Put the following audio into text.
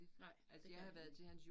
Nej det kan han ikke